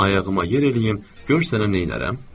ayağıma yer eləyim, gör sənə neynərəm.